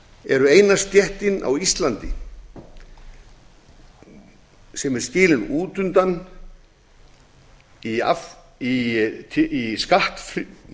eru eina stéttin á íslandi sem er skilin út undan í skattfríðindum